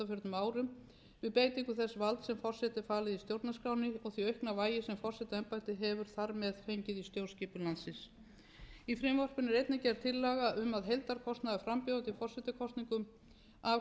árum við beitingu þess valds sem forseta er falið í stjórnarskránni og því aukna vægi sem forsetaembættið hefur þar með fengið í stjórnskipun landsins í frumvarpinu er einni gerð tillaga um að heildarkostnaður frambjóðenda í forsetakosningum af